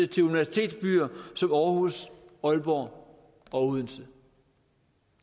til universitetsbyer som aarhus aalborg og odense